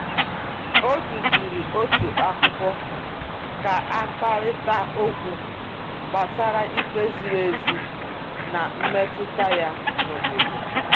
O duziri otu akwụkwọ ka a kparịta okwu gbasara ikpe ziri ezi na mmetụta ya n’obodo.